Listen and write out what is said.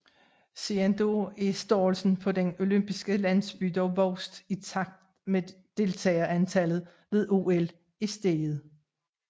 Siden da er størrelsen på den olympiske landsby dog vokset i takt med at deltagerantallet ved OL er steget